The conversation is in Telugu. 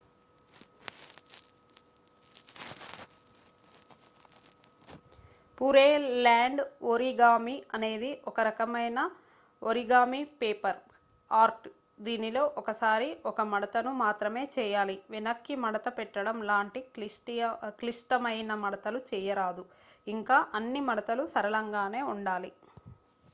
pureland origami అనేది ఒకరకమయిన origami paper ఆర్ట్ దీనిలో ఒకసారి ఒక మడతను మాత్రమే చేయాలి వెనక్కి మడత పెట్టడం లాంటి క్లిష్టమయిన మడతలు చేయరాదు ఇంకా అన్ని మడతలు సరళంగానే ఉండాలి